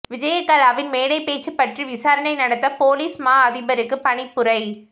விஜயகலாவின் மேடைப்பேச்சு பற்றி விசாரணை நடத்த பொலிஸ் மா அதிபருக்கு பணிப்புரை